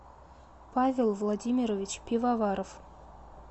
павел владимирович пивоваров